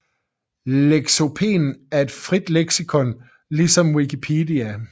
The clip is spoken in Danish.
Lexopen er et frit leksikon ligesom Wikipedia